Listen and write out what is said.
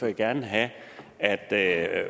jeg gerne have at at